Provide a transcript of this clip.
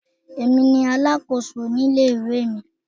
Èmi ni alákòso ilé ìwé.